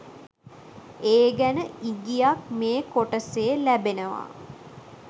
ඒ ගැන ඉගියක් මේ කොටසේ ලැබෙනවා